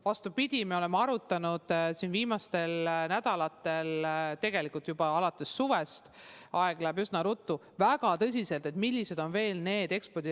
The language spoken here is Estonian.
Vastupidi, me oleme arutanud viimastel nädalatel, tegelikult juba alates suvest – aeg läheb üsna ruttu – väga tõsiselt, milliseid ekspordiriike on veel.